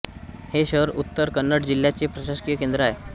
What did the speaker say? हे शहर उत्तर कन्नड जिल्ह्याचे प्रशासकीय केंद्र आहे